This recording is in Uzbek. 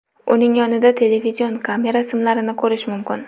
Uning yonida televizion kamera simlarini ko‘rish mumkin.